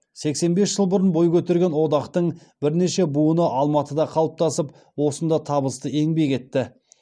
сексен бес жыл бұрын бой көтерген одақтың бірнеше буыны алматыда қалыптасып осында табысты еңбек етті